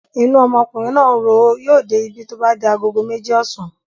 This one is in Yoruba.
Inú ọmọkùnrin náà ń ro ó. Yóò dé ibí tó bá di agogo méjì ọ̀sán.